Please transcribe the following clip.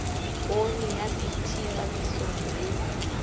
poone ya bt papisong le